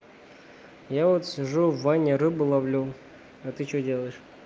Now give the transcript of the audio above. я вот сижу в ванне рыбу ловлю а ты что делаешь